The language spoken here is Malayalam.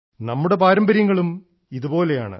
നമ്മുടെ പാരമ്പര്യങ്ങളും ഇതുപോലെയാണ്